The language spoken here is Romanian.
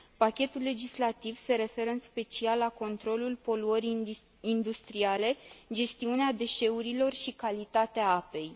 Pachetul legislativ se referă, în special, la controlul poluării industriale, gestiunea deșeurilor și calitatea apei.